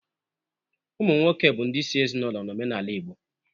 Ụmụ nwoke bụ ndị isi ezinaụlọ n'omenala Igbo.